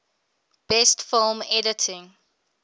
best film editing